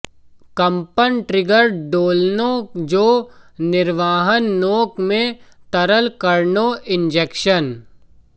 कंपन ट्रिगर दोलनों जो निर्वहन नोक में तरल कणों इंजेक्शन